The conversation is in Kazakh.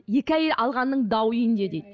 екі әйел алғанның дауы үйінде дейді